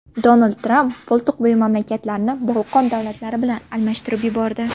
Donald Tramp Boltiqbo‘yi mamlakatlarni Bolqon davlatlari bilan adashtirib yubordi.